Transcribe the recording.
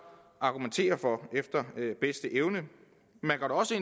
argumentere for efter bedste evne man går også